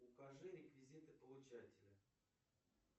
укажи реквизиты получателя